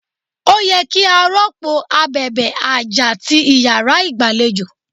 Ó yẹ kí a rọ́pò abèbè àjà ti Ìyàrá igbalejo.